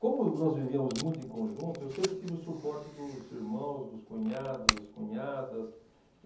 Como nós vivíamos muito em conjunto, eu sempre tive o suporte dos irmãos, dos cunhados, das cunhadas.